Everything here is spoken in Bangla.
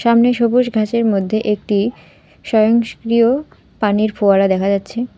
সামনে সবুস ঘাসের মদ্যে একটি সয়ংসক্রিয় পানির ফোয়ারা দেখা যাচ্ছে।